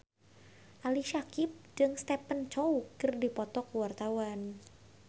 Ali Syakieb jeung Stephen Chow keur dipoto ku wartawan